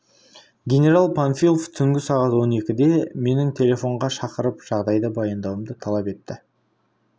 генерал панфилов түнгі сағат он екіде мені телефонға шақырып жағдайды баяндауымды талап етті